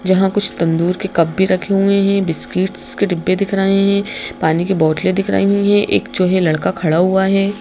जहां कुछ तंदूर के कप भी रखे हुए हैं बिस्किट्स के डिब्बे दिख रहे हैं पानी की बोतलें दिख रही हैं एक जो है लड़का खड़ा हुआ है।